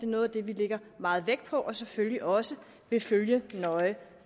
noget af det vi lægger meget vægt på og selvfølgelig også vil følge nøje i